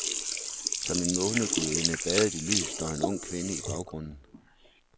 Som en månegudinde badet i lys står en ung kvinde i baggrunden.